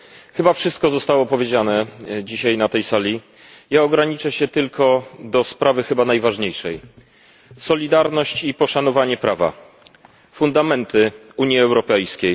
Chyba wszystko zostało powiedziane dzisiaj na tej sali, ja ograniczę się tylko do sprawy chyba najważniejszej solidarność i poszanowanie prawa fundamenty Unii Europejskiej.